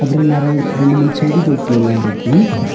அப்பற நெரை ரெண்டு மூணு செடி தொட்டி எல்லா இருக்கு.